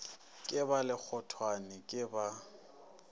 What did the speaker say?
ke ba lekgothwane ke ba